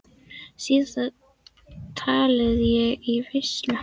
Síðast talaði ég í veislu á